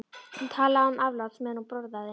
Hún talaði án afláts meðan hún borðaði.